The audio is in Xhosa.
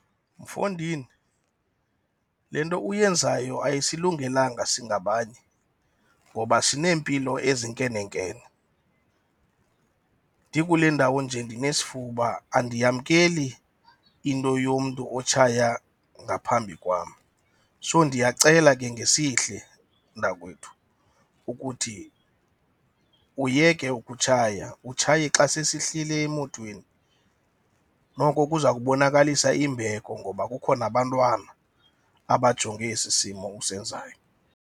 Mfondini, le nto uyenzayo asilungelanga singabanye ngoba sineempilo ezinkenenkene. Ndikule ndawo nje ndinesifuba, andiyamkeli into yomntu otshaya ngaphambi kwam. So ndiyacela ke ngesihle, mnakwethu, ukuthi uyeke ukutshaya, utshaye xa sesihlili emotweni. Noko kuza kubonakalisa imbeko ngoba kukho nabantwana abajonge esi simo usenzayo.